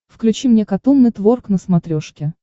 включи мне катун нетворк на смотрешке